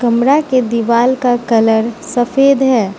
कमरा के दीवाल का कलर सफेद है।